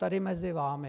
Tady mezi vámi.